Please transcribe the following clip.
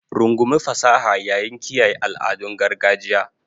Rungumi fasaha yayin kiyaye al'adun gargajiya.